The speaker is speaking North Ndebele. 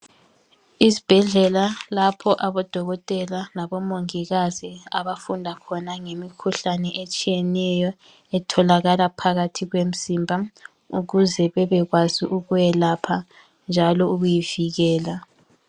Izibhedlela lapho abodokotela labomongikazi abafunda khona ngemikhuhlane etshiyeneyo etholakala phakathi komzimba ukuze babekwazi ukwelapha njalo ukuyivikela.